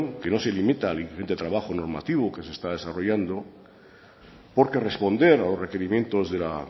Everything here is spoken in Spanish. que no se limita al importante trabajo normativo que se está desarrollando porque responder a los requerimientos de la